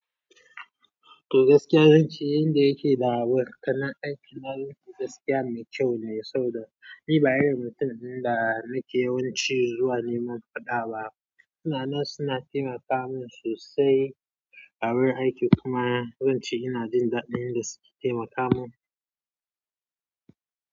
To gaskiya, zan ce yanda yake da abokanan aiki na gaskiya mai kyau ne, saboda ni ba irin mutum ne da nake yawanci zuwa neman faɗa ba. Suna nan suna taimaka mun sosai. A wurin aiki kuma zan ce ina jin daɗin yanda suke taimaka mun.